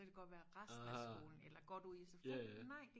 så kan det godt være resten af skolen eller godt ude i SFO'en nej